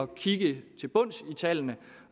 kigge til bunds i tallene